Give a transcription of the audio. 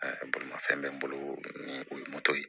bolimafɛn bɛ n bolo ni o ye moto ye